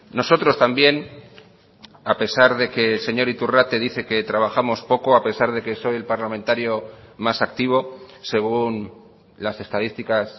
nosotros también a pesar de que el señor iturrate dice que trabajamos poco a pesar de que soy el parlamentario más activo según las estadísticas